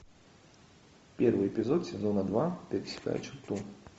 первый эпизод сезона два пересекая черту